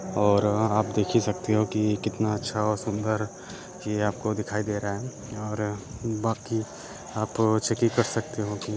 और आप देख ही सकते हो कि कितना अच्छा और सुंदर ये आपको दिखाई दे रहा है और बाकी आप चेक कर सकते हो कि --